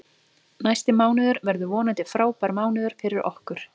Næsti mánuður verður vonandi frábær mánuður fyrir okkur.